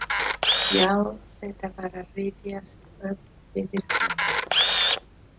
Já, þetta var að rifjast upp fyrir honum.